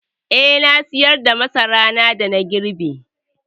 Eh, na sayar da masaran da na girbe.